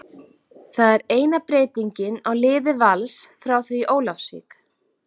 Það er eina breytingin á liði Vals frá því í Ólafsvík.